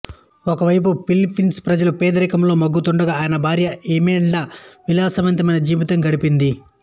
ఒకవైపు ఫిలిప్పైన్ ప్రజలు పేదరికంలో మగ్గుతుండగా ఆయన భార్య ఇమేల్డా విలాసవంతమైన జీవితం గడిపింది